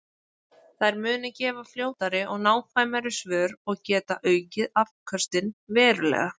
Þær munu gefa fljótari og nákvæmari svör og geta aukið afköstin verulega.